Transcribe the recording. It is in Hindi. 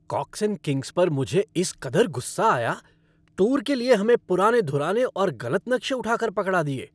कॉक्स एंड किंग्स पर मुझे इस कदर गुस्सा आया, टूर के लिए हमें पुराने धुराने और गलत नक्शे उठा कर पकड़ा दिए।